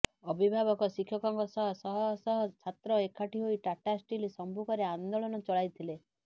ଅଭିଭାବକ ଶିକ୍ଷକଙ୍କ ସହ ଶହଶହ ଛାତ୍ର ଏକାଠି ହୋଇ ଟାଟା ଷ୍ଟିଲ୍ ସମ୍ମୁଖରେ ଆନ୍ଦୋଳନ ଚଳାଇଥିଲେ